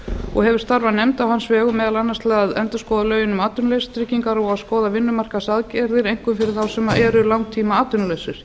og hefur starfað nefnd á hans vegum meðal annars til að endurskoða lögin um atvinnuleysistryggingar og að skoða vinnumarkaðsaðgerðir einkum fyrir þá sem eru langtímaatvinnulausir